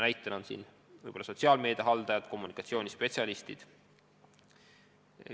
Näiteks võib tuua sotsiaalmeedia haldajad, kommunikatsioonispetsialistid.